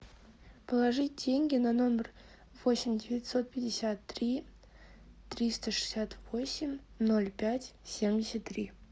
положить деньги на номер восемь девятьсот пятьдесят три триста шестьдесят восемь ноль пять семьдесят три